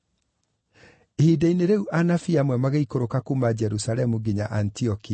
Ihinda-inĩ rĩu anabii amwe magĩikũrũka kuuma Jerusalemu nginya Antiokia.